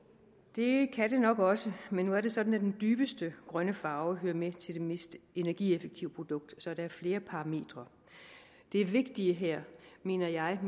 det kan det nok også men nu er det sådan at den dybeste grønne farve hører med til det mest energieffektive produkt så der er flere parametre det vigtige her mener jeg og